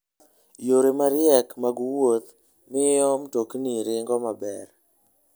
Yore mariek mag wuoth miyo mtokni ringo maber.